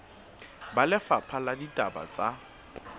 ba lefapha la ditaba tsa